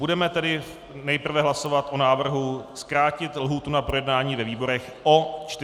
Budeme tedy nejprve hlasovat o návrhu zkrátit lhůtu na projednání ve výborech o 43 dnů.